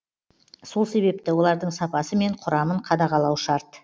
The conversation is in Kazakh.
сол себепті олардың сапасы мен құрамын қадағалау шарт